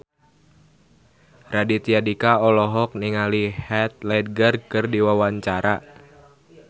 Raditya Dika olohok ningali Heath Ledger keur diwawancara